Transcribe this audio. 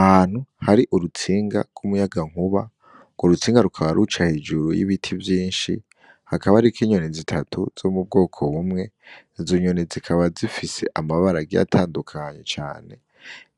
Ahantu hari urutsinga rw'umuyagankuba urwo rutsinga rukaba ruca hejuru y'ibiti vyinshi, hakaba hariko inyoni zitatu zo mu bwoko bumwe, izo nyoni zikaba zifise amabara agiye atandukanye cane